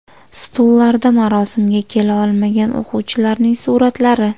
Stullarda marosimga kela olmagan o‘quvchilarning suratlari.